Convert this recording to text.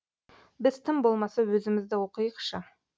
біз тым болмаса өзімізді оқиықшы